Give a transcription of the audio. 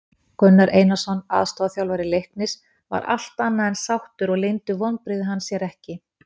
Gunnar Einarsson aðstoðarþjálfari Leiknis var allt annað en sáttur og leyndu vonbrigði hans sér ekki.